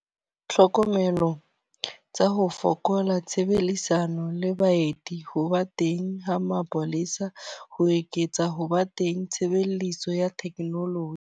Tlhokomelo tsa ho fokola, tshebelisano le baeti, ho ba teng ha mapolesa, ho eketsa ho ba teng tshebeletso ya technology.